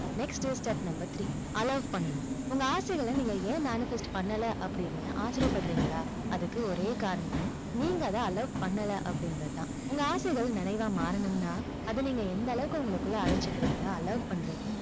next step number three allow பண்ணணும். உங்க ஆசைகளை, நீங்க ஏன் manifest பண்ணல, அப்படின்னு ஆச்சரியப்படுறீங்களா? அதுக்கு ஒரே காரணம், நீங்க அதை allow பண்ணல அப்படிங்கறது தான். உங்க ஆசைகள் நிறைவா மாறனும்னா, அதை நீங்க எந்த அளவுக்கு உங்களுக்குள்ள அழச்சிக்கிறீங்க allow பண்றீங்க,